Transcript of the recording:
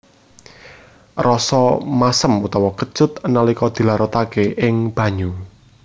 Rasa masem utawa kecut nalika dilarutaké ing banyu